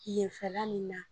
Yenfɛla munnu na.